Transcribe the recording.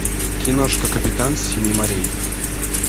киношка капитан семи морей